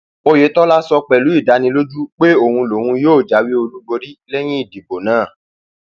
oyetola sọ pẹlú ìdánilójú pé òun lòun yóò jáwé olúborí lẹyìn ìdìbò náà